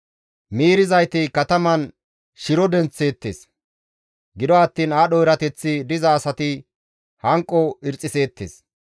Miirizayti kataman shiro denththeettes; gido attiin aadho erateththi diza asati hanqo irixiseettes.